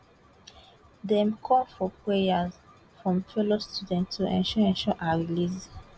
dem call for prayers from fellow students to ensure ensure her release